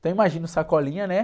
Então imagina o Sacolinha, né?